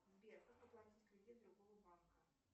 сбер как оплатить кредит другого банка